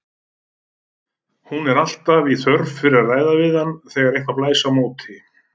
Hún er alltaf í þörf fyrir að ræða við hann þegar eitthvað blæs á móti.